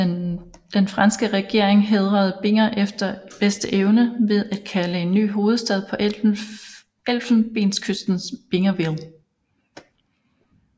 Den franske regering hædrede Binger efter bedste evne ved at kalde en ny hovedstad på Elfenbenskysten Bingerville